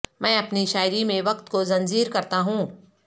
میں اپنی شاعری میں وقت کو زنجیر کرتا ہوں